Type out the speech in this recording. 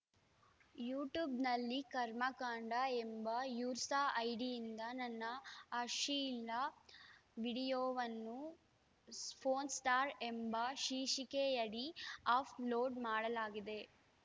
ಯೂಟ್ಯೂಬ್‌ನಲ್ಲಿ ಕರ್ಮಕಾಂಡ ಎಂಬ ಯೂಸರ್‌ ಐಡಿಯಿಂದ ನನ್ನ ಅಶ್ಲೀಲ ವಿಡಿಯೋವನ್ನು ಪೋರ್ನ್‌ ಸ್ಟಾರ್‌ ಎಂಬ ಶೀರ್ಷಿಕೆಯಡಿ ಆಪ್‌ ಲೋಡ್‌ ಮಾಡಲಾಗಿದೆ